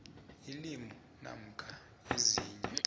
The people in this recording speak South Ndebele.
ilimu namkha ezinye